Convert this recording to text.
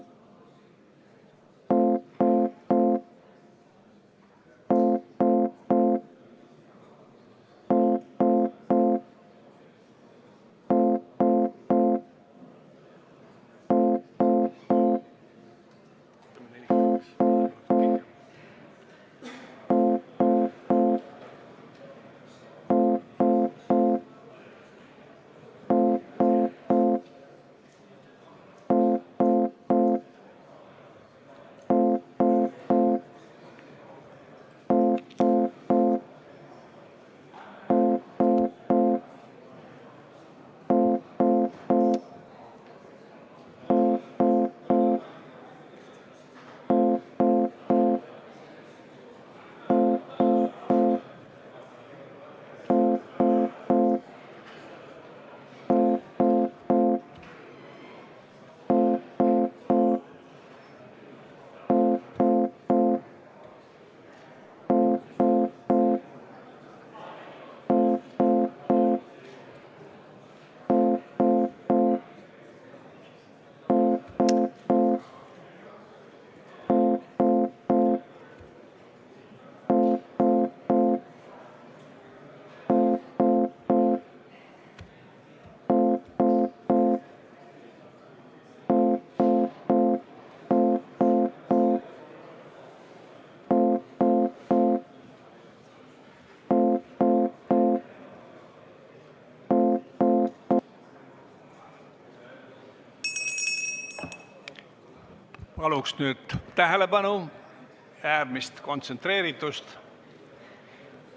Palun nüüd tähelepanu ja äärmist kontsentreeritust!